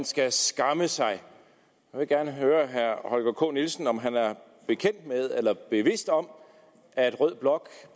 skal skamme sig jeg vil gerne høre herre holger k nielsen om han er bekendt med eller bevidst om at rød blok